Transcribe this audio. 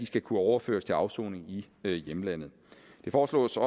skal kunne overføres til afsoning i hjemlandet det foreslås